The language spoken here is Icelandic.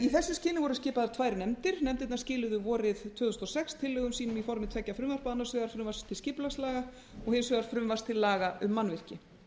í þessu skyni voru skipaðar tvær nefndir nefndirnar skiluðu vorið tvö þúsund og sex tillögum sínum í formi tveggja frumvarpa annars vegar frumvarp til skipulagslaga og hins vegar frumvarps til laga um mannvirki